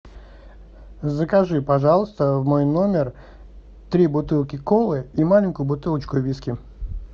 закажи пожалуйста в мой номер три бутылки колы и маленькую бутылочку виски